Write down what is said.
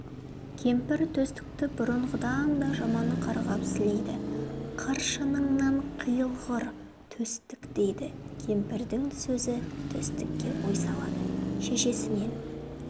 кемпір төстікті бұрынғыдан да жаман қарғап-сілейді қыршыныңнан қиылғыр төстік дейді кемпірдің сөзі төстікке ой салады шешесінен